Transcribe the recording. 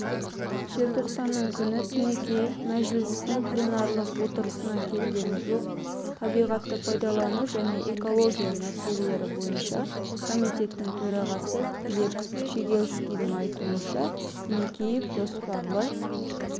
желтоқсанның күні тінікеев мәжілістің пленарлық отырысына келген жоқ табиғатты пайдалану және экология мәселелері бойынша комитеттің төрағасы глеб щегельскийдің айтуынша тінікеев жоспарлы